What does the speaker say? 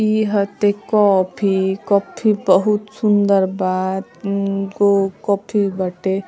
इ हटे coffee coffee बहुत सूंदर बा। तीनगो कफ़ी बाटे।